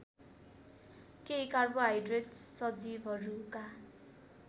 केही कार्बोहाइड्रेट्स सजीवहरूका